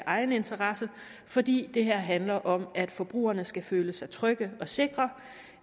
egen interesse fordi det her handler om at forbrugerne skal føle sig trygge og sikre